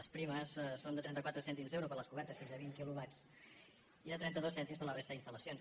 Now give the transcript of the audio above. les primes són de trenta quatre cèntims d’euro per a les cobertes de fins a vint quilo·watts i de trenta dos cèntims per a la resta d’instal·lacions